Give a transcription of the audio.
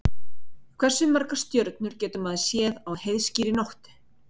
Hversu margar stjörnur getur maður séð á heiðskírri nóttu?